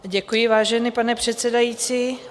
Děkuji, vážený pane předsedající.